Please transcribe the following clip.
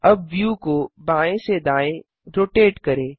अब व्यू को बाएँ से दाएँ रोटेट करें